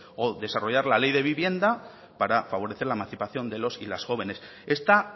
o desarrollar la ley de vivienda para favorecer la emancipación de los y las jóvenes esta